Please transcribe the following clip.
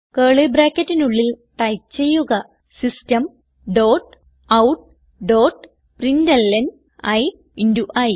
curly ബ്രാക്കറ്റിനുള്ളിൽ type ചെയ്യുക system dot out dot println i into E